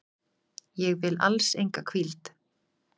Ég vil alls enga hvíld.